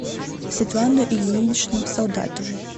светлану ильиничну солдатову